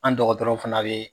An dɔgɔ dɔkɔtɔrɔw fana be